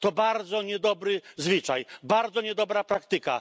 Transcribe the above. To bardzo niedobry zwyczaj, bardzo niedobra praktyka.